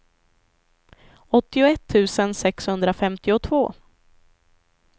åttioett tusen sexhundrafemtiotvå